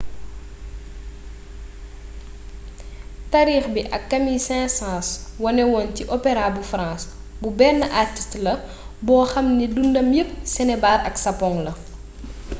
taarix bi camille saint-saens wané woon ci opera bu france bu benn artist la ‘’boo xam ni dundam yepp sinébar ak sapong la.’’